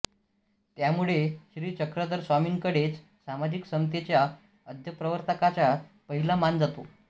त्यामुळे श्री चक्रधर स्वामींकडेच सामाजिक समतेच्या आद्यप्रवर्तकाचा पहिला मान जातो